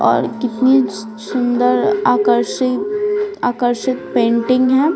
और कितनी सुंदर आकर्षित आकर्षित पेंटिंग है।